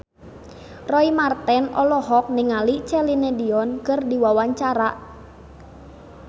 Roy Marten olohok ningali Celine Dion keur diwawancara